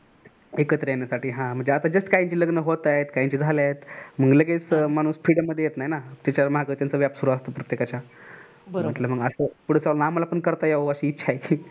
एकत्र येण्यासाठी हा म्हणजे आता just काहींचे लग्न होत आहेत काहींचे झाले आहेत मग लगेच माणूस field मध्ये येत नाही ना त्याच्या मागे त्याचा व्याप सुरु असतो प्रत्येकाच्या. मग पुढ चालून आम्हाला पण करता याव अशी इच्छा आहे.